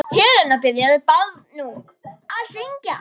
Helena byrjaði barnung að syngja.